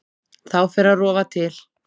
Þá fer að rofa til.